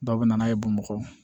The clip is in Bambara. Dɔw bɛ na n'a ye bamakɔ